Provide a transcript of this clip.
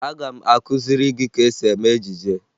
Aga m akụziri gị ka esi eme ejije